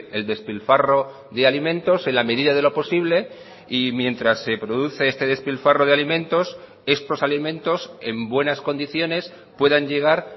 el despilfarro de alimentos en la medida de lo posible y mientras se produce este despilfarro de alimentos estos alimentos en buenas condiciones puedan llegar